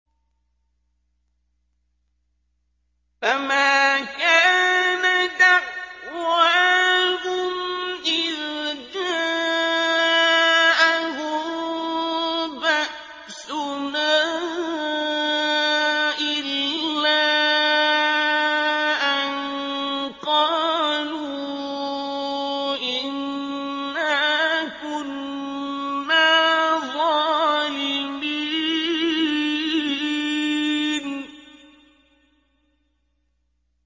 فَمَا كَانَ دَعْوَاهُمْ إِذْ جَاءَهُم بَأْسُنَا إِلَّا أَن قَالُوا إِنَّا كُنَّا ظَالِمِينَ